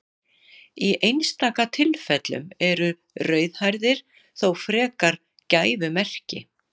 Í einstaka tilfellum eru rauðhærðir þó frekar gæfumerki.